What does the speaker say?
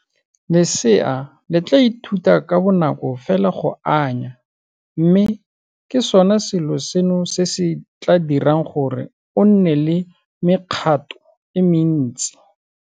Lesea le tla ithuta ka bonako fela go anya mme ke sona selo seno se se tla dirang gore o nne le mekgato e mentsi.